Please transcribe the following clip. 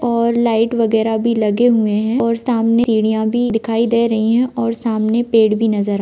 और लाईट वगेरा भी लगे हुए हैं और सामने सीडिया भी दिखाई दे रही है और सामने पेड़ भी नजर--